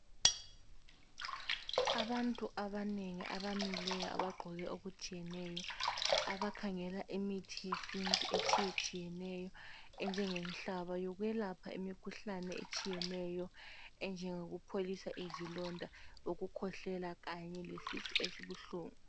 Abantu abanengi abamileyo abagqoke okutshiyeneyo abakhangela imithi yesintu etshiyetshiyeneyo enjenge nhlaba yokwelapha imikhuhlane etshiyeneyo enjengoku pholisa izilonda ukukhwehlela kanye lesisu esibuhlungu.